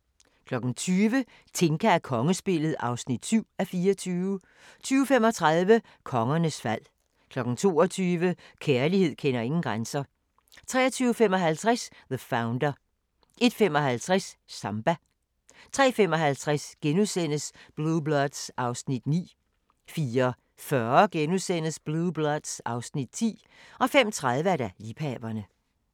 20:00: Tinka og kongespillet (7:24) 20:35: Kongernes fald 22:00: Kærlighed kender ingen grænser 23:55: The Founder 01:55: Samba 03:55: Blue Bloods (Afs. 9)* 04:40: Blue Bloods (Afs. 10)* 05:30: Liebhaverne